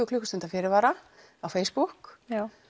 klukkustunda fyrirvara á Facebook